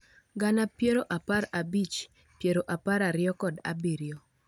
Gana piero apar abich, piero apar ariyo kod abiriyo